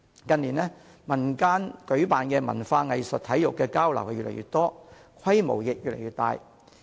近年，民間舉辦的文化、藝術及體育交流活動越來越多，規模亦越來越大。